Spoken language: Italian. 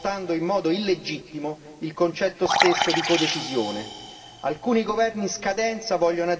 con le condizionalità macroeconomiche, svuotando in modo illegittimo il concetto stesso di codecisione.